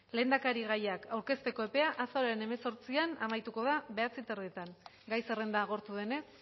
lehendakarigaiak aurkezteto epea azaroaren hemezortzian amaituko da bederatzihogeita hamaretan gai zerrenda agortu denez